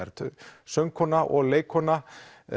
söngkona og leikkona